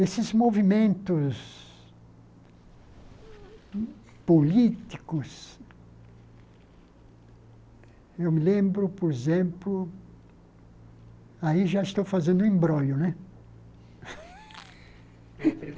Esses movimentos políticos, eu me lembro, por exemplo, aí já estou fazendo embrolho, né?